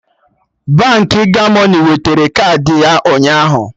Baankị Gomoney wetara kaadị ya ụnyaahụ